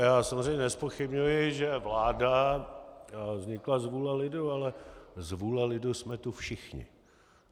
Já samozřejmě nezpochybňuji, že vláda vznikla z vůle lidu, ale z vůle lidu jsme tu všichni.